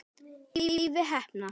Leifi heppna.